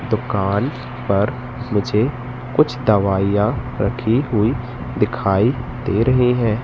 दुकान पर मुझे कुछ दवाइयां रखी हुई दिखाई दे रही है।